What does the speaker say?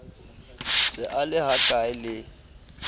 se a le hkae le